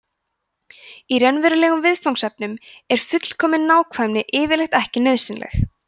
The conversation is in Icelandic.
í raunverulegum viðfangsefnum er fullkomin nákvæmni yfirleitt ekki nauðsynleg